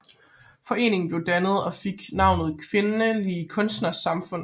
Foreningen blev dannet og fik navnet Kvindelige Kunstneres Samfund